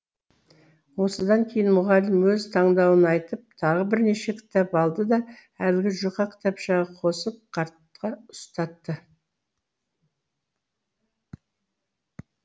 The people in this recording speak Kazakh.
осыдан кейін мұғалім өз таңдауын айтып тағы бірнеше кітап алды да әлгі жұқа кітапшаға қосып қартқа ұстатты